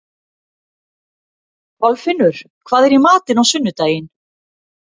Kolfinnur, hvað er í matinn á sunnudaginn?